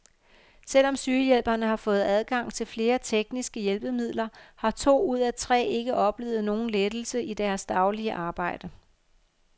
Selvom sygehjælperne har fået adgang til flere tekniske hjælpemidler har to ud af tre ikke oplevet nogen lettelse i deres daglige arbejde.